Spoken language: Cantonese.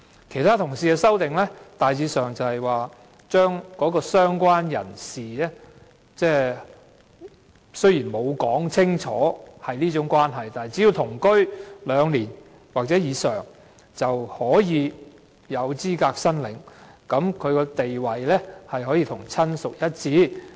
其他同事的修正案大致上關乎"相關人士"的定義，當中雖然未有清楚述明屬這種關係，但只要同居兩年或以上，便有資格申領，地位可與親屬一致。